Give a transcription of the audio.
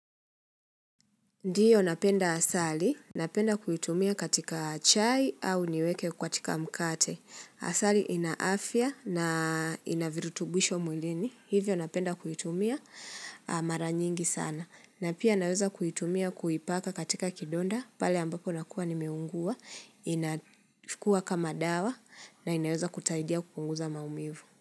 Ndiyo napenda asali, napenda kuitumia katika chai au niweke katika mkate. Asali ina afya na inavirutubwisho mwilini, hivyo napenda kuitumia mara nyingi sana. Na pia naweza kuitumia kuipaka katika kidonda, pale ambapo nakuwa nimeungua, inachukua kama dawa na inaweza kusaidia kupunguza maumivu.